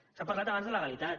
s’ha parlat abans de legalitat